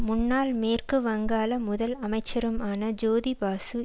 முன்னாள் மேற்கு வங்காள முதல் அமைச்சருமான ஜோதி பாசு